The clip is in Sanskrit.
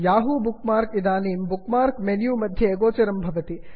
याहू बुक् मार्क् इदानीं बुक् मार्क् मेन्यु मध्ये गोचरं भवति